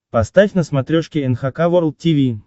поставь на смотрешке эн эйч кей волд ти ви